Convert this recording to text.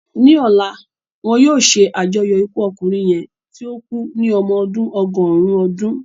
Ní ọ̀la, wọn yóò ṣe àjọyọ̀ ikú ọkùnrin yẹn tí ó kú ní ọmọ ọdún ọgọ́rùn-ún ọdún.